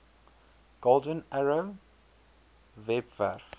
golden arrow webwerf